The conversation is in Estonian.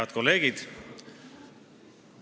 Head kolleegid!